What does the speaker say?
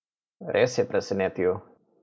Res je presenetil!